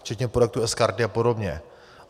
Včetně projektu sKarty a podobně.